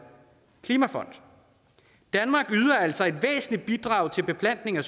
klimafond danmark yder altså et væsentligt bidrag til beplantning af